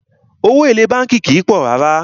Owó èlé bánkì kìí pọ̀ rárá.